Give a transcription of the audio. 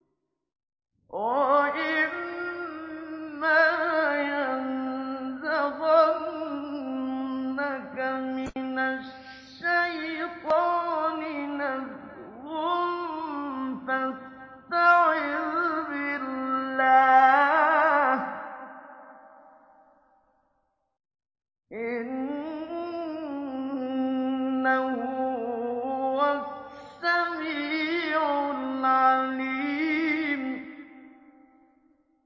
وَإِمَّا يَنزَغَنَّكَ مِنَ الشَّيْطَانِ نَزْغٌ فَاسْتَعِذْ بِاللَّهِ ۖ إِنَّهُ هُوَ السَّمِيعُ الْعَلِيمُ